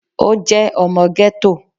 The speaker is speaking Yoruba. Ó jẹ́ ọmọ gẹ́tò